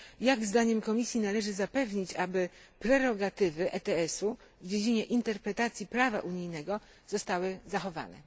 Jak, zdaniem Komisji, należy zapewnić, aby prerogatywy ETS u w dziedzinie interpretacji prawa unijnego zostały zachowane?